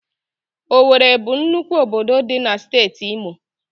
Owere bụ nnukwu obodo dị n'Steeti Imo.